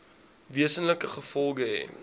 wesenlike gevolge hê